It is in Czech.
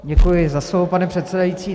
Děkuji za slovo, pane předsedající.